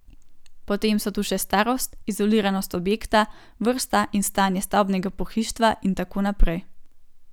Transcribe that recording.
Potem so tu še starost, izoliranost objekta, vrsta in stanje stavbnega pohištva in tako naprej.